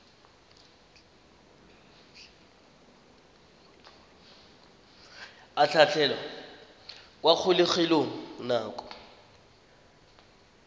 a tlhatlhelwa kwa kgolegelong nako